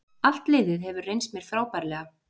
Allt liðið hefur reynst mér frábærlega